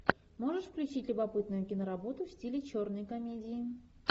можешь включить любопытную киноработу в стиле черной комедии